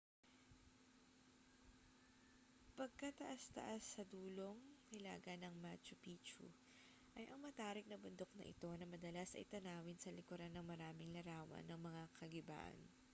pagkataas-taas sa dulong hilaga ng macchu picchu ay ang matarik na bundok na ito na madalas ay tanawin sa likuran ng maraming larawan ng mga kagibaan